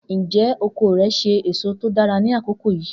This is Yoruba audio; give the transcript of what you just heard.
Njẹ oko rẹ ṣe eso to dara ni akoko yii?